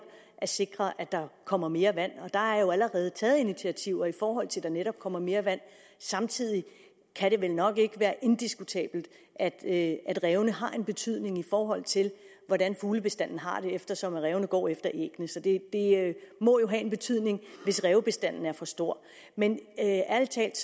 at sikre at der kommer mere vand og der er jo allerede taget initiativer i forhold til at der netop kommer mere vand samtidig kan det vel nok ikke være diskutabelt at at rævene har en betydning i forhold til hvordan fuglebestanden har det eftersom rævene går efter æggene så det må jo have en betydning hvis rævebestanden er for stor men ærlig talt